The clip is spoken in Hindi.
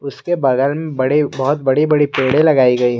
उसके बगल में बड़ी बहुत बड़ी बड़ी पेड़े लगाई गई है।